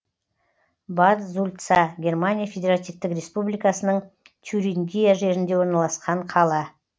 бад зульца германия федеративтік республикасының тюрингия жерінде орналасқан қала